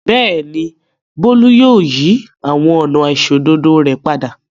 Bẹ́ẹ̀ ni, Bólú yóò yí àwọn ọ̀nà àìṣòdodo rẹ̀ padà.